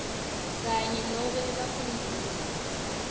kanye nobe bafundzisi